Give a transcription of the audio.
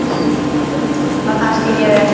Og það skil ég vel.